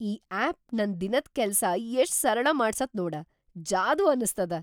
ಈ ಆಪ್ ನನ್ ದಿನದ್ ಕೆಲ್ಸ ಎಷ್ಟ್‌ ಸರಳ ಮಾಡ್ಸತ್‌ ನೋಡ, ಜಾದೂ ಅನಸ್ತದ!